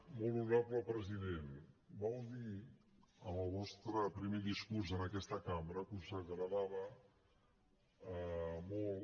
molt honorable president vau dir en el vostre primer discurs en aquesta cambra que us agradava molt